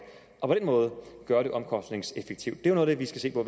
og på den måde gøre det omkostningseffektivt noget af det vi skal se på